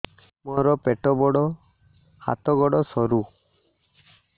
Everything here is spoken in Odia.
ମୋର ପେଟ ବଡ ହାତ ଗୋଡ ସରୁ